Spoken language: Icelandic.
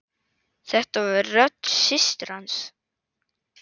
Þetta var rödd systur hans.